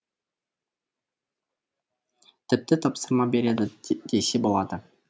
тіпті тапсырма береді десе болады